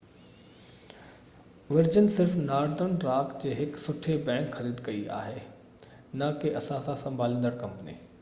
version صرف Northern Rock جي هڪ سٺي بئنڪ' خريد ڪئي آهي نہ ڪي اثاثا سنڀاليندڙ ڪمپني